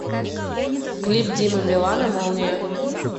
клип димы билана молния